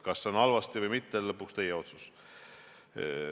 Kas see on halvasti või mitte, on lõpuks teie otsus.